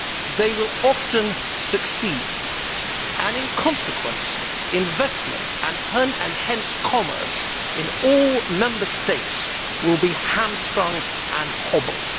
They will often succeed, and in consequence, investment and hence commerce in all Member States will be hamstrung and hobbled.